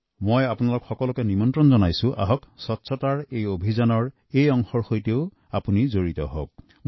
মই আপোনালোকক আহ্বান জনাওঁ যে স্বচ্ছতা অভিযানত আপোনালোকে এনেকৈও অংশগ্ৰহণ কৰিব পাৰে